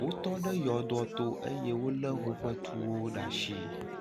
wotɔ ɖe yɔdoa to eye wole woƒe tuwo ɖe asi